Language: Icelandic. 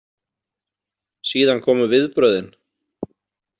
Síðan komu viðbrögðin.